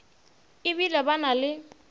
e bile ba na le